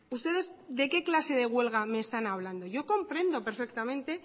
ustedes de qué clase de huelga me están hablando yo comprendo perfectamente